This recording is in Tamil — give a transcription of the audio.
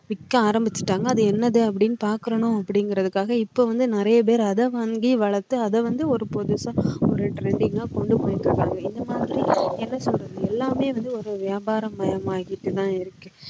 விக்க ஆரம்பிச்சிட்டாங்க அது என்னது அப்படின்னு பாக்குறணும் அப்படிங்கறதுக்காக இப்போ வந்து நிறைய பேர் அதை வாங்கி வளர்த்து அதை வந்து ஒரு புதுசா trending ஆ என்ன சொல்றது எல்லாமே வந்து ஒரு வியாபாரம் மயமாகிட்டு தான் இருக்கு